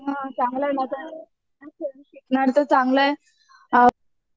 हां चांगल आहे